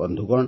ବନ୍ଧୁଗଣ